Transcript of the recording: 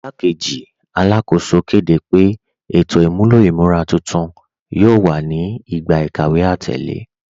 Ìgbàkẹ́jì Alákóṣò kẹ́dẹ́ pé ètò imúlọ̀ imúra tuntun yóò wà ní ìgbà ikàwé atẹlẹ.